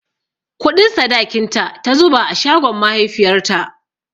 Kuɗin sadakinta ta zuba a shagon mahaifiyarta.